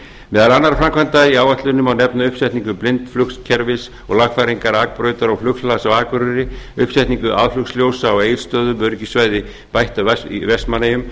meðal annarra framkvæmda í áætluninni má nefna uppsetningu blindflugskerfis og lagfæringar akbrautar og flughlaðs á akureyri uppsetningu aðflugsljósa á egilsstöðum öryggissvæði bætt í vestmannaeyjum